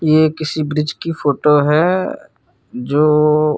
ये किसी ब्रिज़ की फोटो है जो--